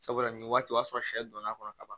Sabula nin waati o y'a sɔrɔ sɛ donn'a kɔnɔ ka ban